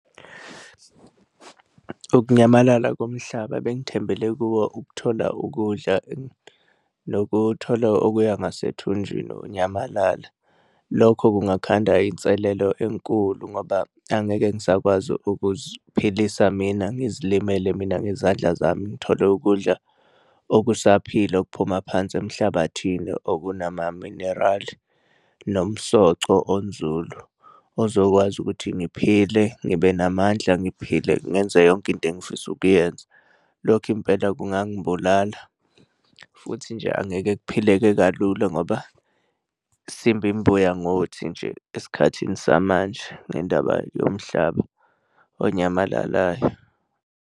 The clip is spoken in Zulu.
Ukunyamalala komhlaba ebengithembele kuwo ukuthola ukudla nokuthola okuya ngasethunjini kunyamalala. Lokho kungakhanda inselelo enkulu ngoba angeke ngisakwazi ukuziphilisa mina ngizilimele mina ngezandla zami ngithole ukudla okusaphila okuphuma phansi emhlabathini okunama-mineral nomsoco onzulu ozokwazi ukuthi ngiphile, ngibe namandla, ngiphile ngenze yonke into engifisa ukuyenza. Lokhu impela kungangibulala futhi nje angeke kuphileke kalula ngoba sidla imbuya ngothi nje, esikhathini samanje ngendaba yomhlaba onyamalalayo.